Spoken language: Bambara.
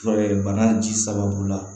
bana ji sababu la